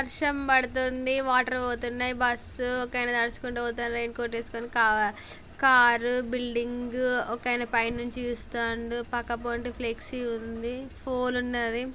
వర్షం పడుతుంది వాటర్ పోతున్నాయ్ బస్ ఒక ఆయనా తడుస్కుంటూ పోతాండూ రైన్ కోట్ ఎస్కోని కా- కార్ బిల్డింగ్ ఒక ఆయన పైనుండి చూస్తాండు పక్క పొంటి ఫ్లెక్సీ ఉంది పోల్ ఉన్నది.